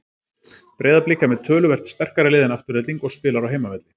Breiðablik er með töluvert sterkara lið en Afturelding og spilar á heimavelli.